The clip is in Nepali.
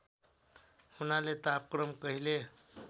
हुनाले तापक्रम कहिले